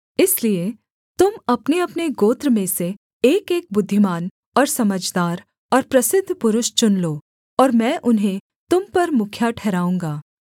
इसलिए तुम अपनेअपने गोत्र में से एकएक बुद्धिमान और समझदार और प्रसिद्ध पुरुष चुन लो और मैं उन्हें तुम पर मुखिया ठहराऊँगा